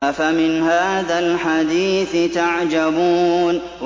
أَفَمِنْ هَٰذَا الْحَدِيثِ تَعْجَبُونَ